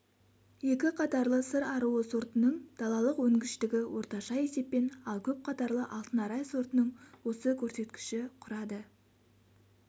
екіқатарлы сыр аруы сортының далалық өнгіштігі орташа есеппен ал көпқатарлы алтын арай сортының осы көрсеткіші құрады